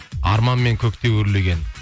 арманмен көкте өрлеген